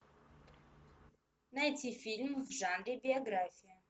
найти фильм в жанре биография